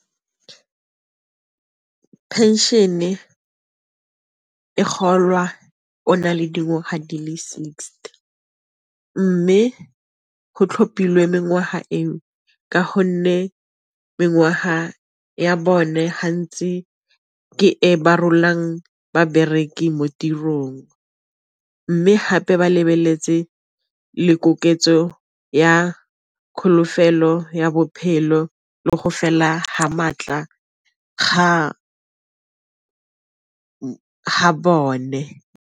Pension-e e golwa o na le dingwaga di le sixty, mme go tlhophilweng mengwaga eo ka gonne mengwaga ya bone hantsi ke e ba rolang babereki mo tirong, mme hape ba lebeletse le koketso ya ya bophelo le go fela ha maatla ga bone.